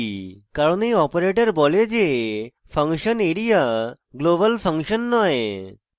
কারণ এই অপারেটর বলে যে area global ফাংশন নয়